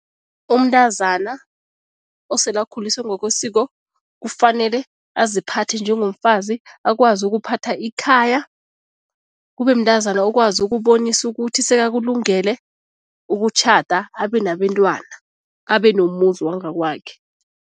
Umntazana osele akhuliswe ngokwesiko kufanele aziphathe njengomfazi, akwazi ukuphatha ikhaya, kube mntazana okwazi ukubonisa ukuthi sekakulungele ukutjhada abe nabentwana, abenomuzi wangakwakhe.